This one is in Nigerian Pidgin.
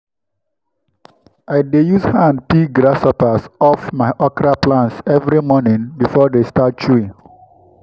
i dey use hand pick grasshoppers off my okra plants every morning before they start chewing.